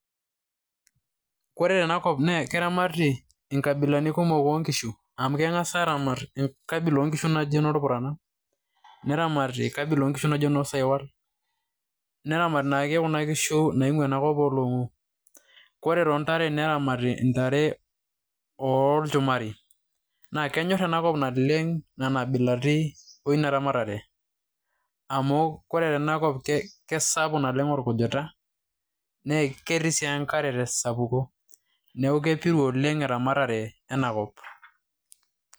ore tenakop naa keramati inkabilaritin oo nkishu, amu kengas aaramat kabila oo nkishu naji kurana. neramati kabila oo nkishu naji saiwal, neramati kuna kishu naing'uaa ena kop ooloong'u. ore too ntare neramti ntare oolchumari. naa kenyor ena kop oleng' nena abilaritin eina ramatere. amu ore tena kop keisapuk naleng' orkujita. naa ketii sii enkare te sapuko.